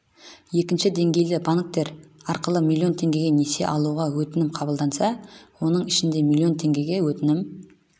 екінші деңгейлі банктер арқылы миллион теңгеге несие алуға өтінім қабылданса оның ішінде миллион теңгеге өтінім